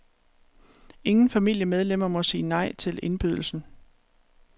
Ingen familiemedlemmer må sige nej til indbydelsen.